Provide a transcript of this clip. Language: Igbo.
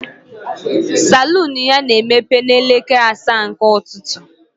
Salon ya na-emepe n'elekere asaa nke ụtụtụ.